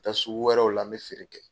taa sugu wɛrɛw la n bɛ feere kɛ.